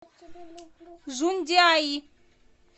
жундиаи